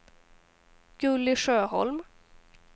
Gulli Sjöholm